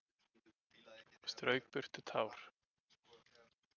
Og strauk burtu tár.